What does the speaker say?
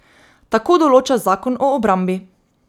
Tako določa zakon o obrambi.